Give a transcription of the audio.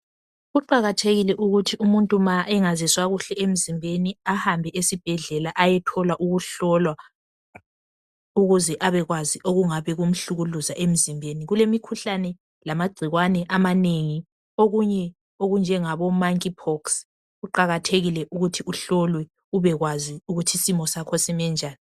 Kuqakathekile ukuthi umuntu nxa engazizwa kuhle emzimbeni ahambe esibhedlela ayothola ukuhlolwa, ukuze abekwazi okungabe kumhlukuluza emzimbeni. Kulemikhuhlane lamagcikwane amanengi okunye okunjengabo "monkeypox".Kuqakathekile ukuthi uhlolwe ubekwazi ukuthi isimo sakho sime njani.